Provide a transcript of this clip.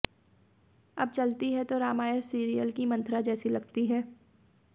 अब चलती हैं तो रामायण सीरियल की मंथरा जैसी लगती हैं